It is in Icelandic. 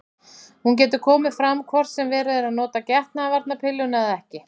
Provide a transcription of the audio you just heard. Hún getur komið fram hvort sem verið er að nota getnaðarvarnarpilluna eða ekki.